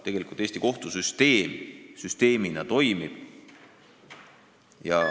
Tegelikult Eesti kohtusüsteem toimib.